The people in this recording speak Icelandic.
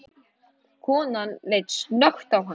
Konan leit snöggt á hann.